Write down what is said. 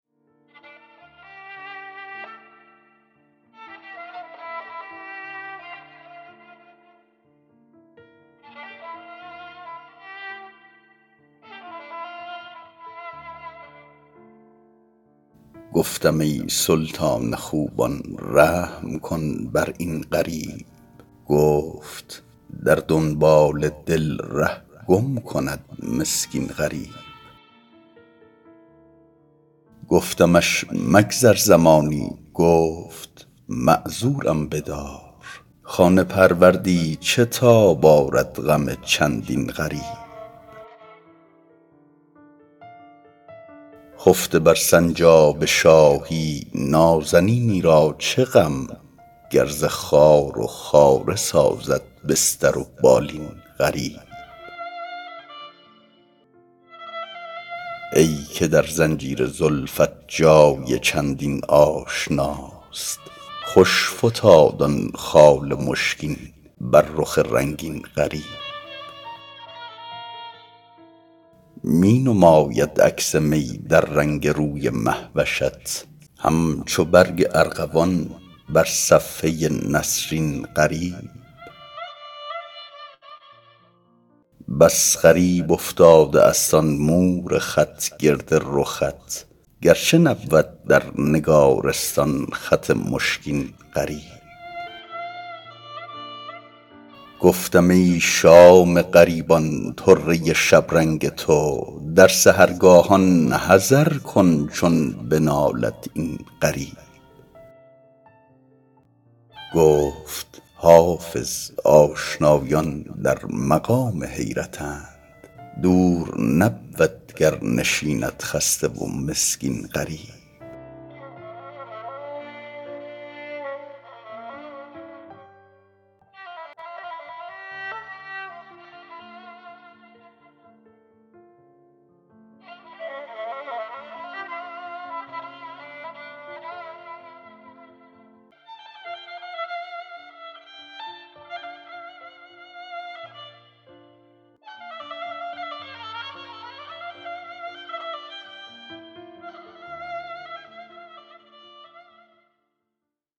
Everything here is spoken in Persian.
گفتم ای سلطان خوبان رحم کن بر این غریب گفت در دنبال دل ره گم کند مسکین غریب گفتمش مگذر زمانی گفت معذورم بدار خانه پروردی چه تاب آرد غم چندین غریب خفته بر سنجاب شاهی نازنینی را چه غم گر ز خار و خاره سازد بستر و بالین غریب ای که در زنجیر زلفت جای چندین آشناست خوش فتاد آن خال مشکین بر رخ رنگین غریب می نماید عکس می در رنگ روی مه وشت همچو برگ ارغوان بر صفحه نسرین غریب بس غریب افتاده است آن مور خط گرد رخت گرچه نبود در نگارستان خط مشکین غریب گفتم ای شام غریبان طره شبرنگ تو در سحرگاهان حذر کن چون بنالد این غریب گفت حافظ آشنایان در مقام حیرتند دور نبود گر نشیند خسته و مسکین غریب